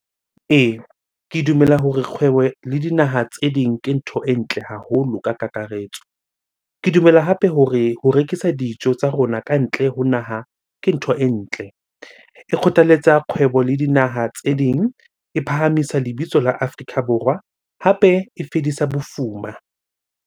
Ee, ke dumela hore kgwebo le dinaha tse ding ke ntho e ntle haholo ka kakaretso. Ke dumela hape hore ho rekisa dijo tsa rona kantle ho naha ke ntho e ntle. E kgothaletsa kgwebo le dinaha tse ding, e phahamisa lebitso la Afrika Borwa hape e fedisa bofuma.